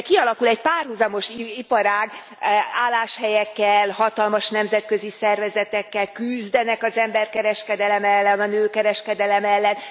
De kialakul egy párhuzamos iparág álláshelyekkel, hatalmas nemzetközi szervezetekkel, küzdenek az emberkereskedelem ellen, a nőkereskedelem ellen.